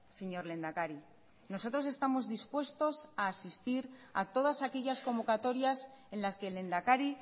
señor lehendakari nosotros estamos dispuestos a asistir a todas aquellas convocatorias en las que el lehendakari